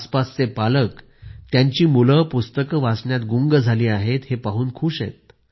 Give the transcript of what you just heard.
आसपासचे पालक त्यांची मुलं पुस्तकं वाचण्यात गुंग झाले आहेत हे पाहून खुष आहेत